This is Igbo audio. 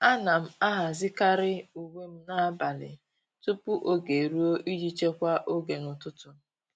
À nà m àhàzị́karị uwe m n’ábàlị̀ tupu ógè érúọ iji chekwaa oge n’ụ́tụ́tụ́.